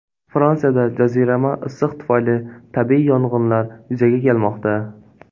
Fransiyada jazirama issiq tufayli tabiiy yong‘inlar yuzaga kelmoqda.